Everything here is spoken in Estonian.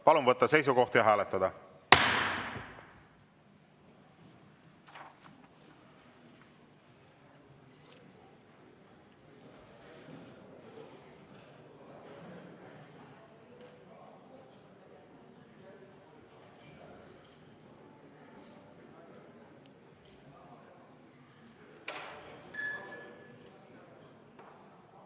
Palun võtta seisukoht ja hääletada!